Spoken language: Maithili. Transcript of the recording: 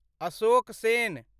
अशोक सेन